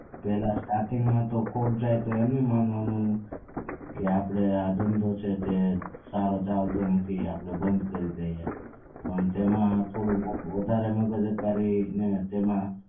પેહલા starting માં ખોટ જાય તો આપને એમ નઈ માનવાનું કે આપડે આ જે ધંધો છે તે સારો ચાલતો નથી આપડે બંદ કરી દઈએ પણ એમાં થોડું વધારે મગજ વિચારીને એમાં